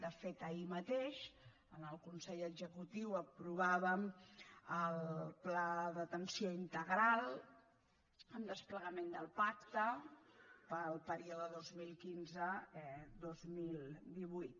de fet ahir mateix en el consell executiu aprovàvem el pla d’atenció integral en desplegament del pacte per al període dos mil quinze dos mil divuit